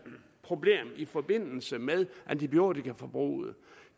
problem i forbindelse med antibiotikaforbruget